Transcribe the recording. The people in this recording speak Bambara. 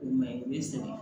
O ma ɲi o bɛ sɛgɛn